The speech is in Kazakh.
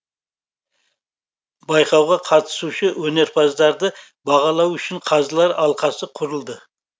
байқауға қатысушы өнерпаздарды бағалау үшін қазылар алқасы құрылды